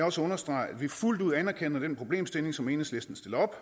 også understrege at vi fuldt ud anerkender den problemstilling som enhedslisten stiller